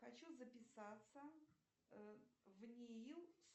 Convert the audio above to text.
хочу записаться в нии